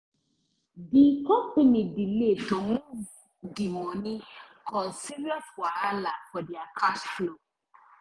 di company delay to move di money cause serious wahala for their cash flow